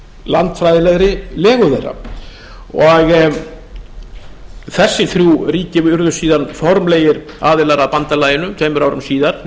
landfræðilegri legu þeirra þessi þrjú ríki urðu síðan formlegir aðilar að bandalaginu tveimur árum síðar